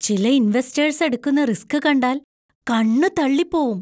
ചില ഇൻവെസ്റ്റേഴ്‌സ് എടുക്കുന്ന റിസ്ക് കണ്ടാൽ കണ്ണ് തള്ളിപ്പോവും.